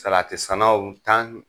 Salati sannaw tan